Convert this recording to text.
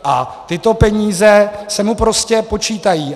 A tyto peníze se mu prostě počítají.